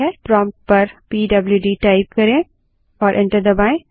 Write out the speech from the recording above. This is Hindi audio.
प्रोम्प्ट पर पीडबल्यूडी टाइप करें और एंटर दबायें